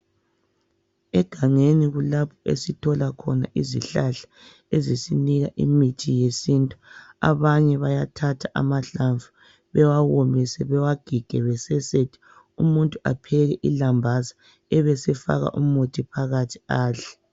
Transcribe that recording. Egangeni kulapho esithola khona izihlahla ezisinika imithi yesintu. Abanye bayathatha amahlamvu, bewawomise ,bewagige ,besesethe, umuntu apheke ilambazi ebesefaka umuthi phakathi adle.